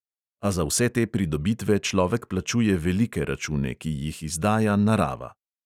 A za vse te pridobitve človek plačuje velike račune, ki jih izdaja narava.